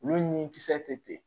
Olu ni kisɛ tɛ yen